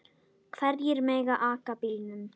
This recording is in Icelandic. Hverjir mega aka bílnum?